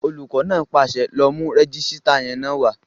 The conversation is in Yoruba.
Olùkọ́ náà pàṣẹ, "lọ mú rẹ́jísítà yẹn wá!"